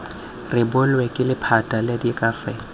rebolwe ke lephata la diakhaefe